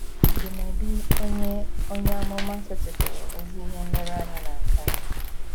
Dumebi onye onye amụma setịpụrụ ezi ihe nlereanya na nke a.